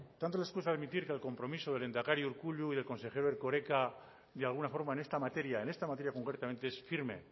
tanto les cuesta admitir que el compromiso del lehendakari urkullu y del consejero erkoreka de alguna forma en esta materia en esta materia concretamente es firme